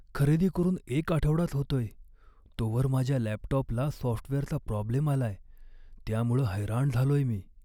खरेदी करून एक आठवडाच होतोय तोवर माझ्या लॅपटॉपला सॉफ्टवेअरचा प्रॉब्लेम आलाय, त्यामुळं हैराण झालोय मी.